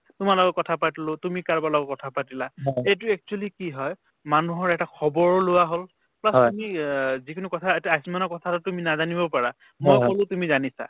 তোমাৰ লগত কথা পাতিলো তুমি কাৰোবাৰ লগত কথা পাতিলা এইটো actually কি হয় মানুহৰ এটা খবৰো লোৱা হল bass তুমি আ যিকোনো কথা এটা আয়ুসমানৰ কথাটোতো তুমি নাজানিবও পাৰা মই কলো তুমি জানিছা